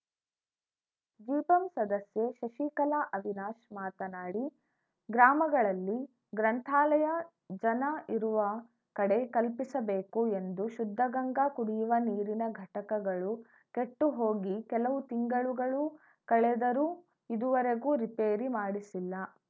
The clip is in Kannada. ಜಿಪಂ ಸದಸ್ಯೆ ಶಶಿಕಲಾ ಅವಿನಾಶ್‌ ಮಾತನಾಡಿ ಗ್ರಾಮಗಳಲ್ಲಿ ಗ್ರಂಥಾಲಯ ಜನ ಇರುವ ಕಡೆ ಕಲ್ಪಿಸಬೇಕು ಎಂದು ಶುದ್ಧಗಂಗಾ ಕುಡಿಯುವ ನೀರಿನ ಘಟಕಗಳು ಕೆಟ್ಟು ಹೋಗಿ ಕೆಲವು ತಿಂಗಳುಗಳು ಕಳೆದರೂ ಇದುವರೆಗೂ ರಿಪೇರಿ ಮಾಡಿಸಿಲ್ಲ